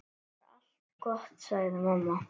Bara allt gott, sagði mamma.